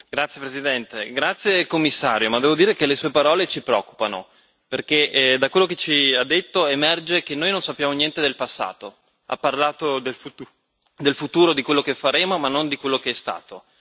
Signora Presidente, onorevoli colleghi, la ringrazio commissario, ma devo dire che le sue parole ci preoccupano perché da quello che ci ha detto emerge che noi non sappiamo niente del passato. Ha parlato del futuro, di quello che faremo, ma non di quello che è stato.